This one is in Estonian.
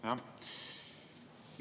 Jah.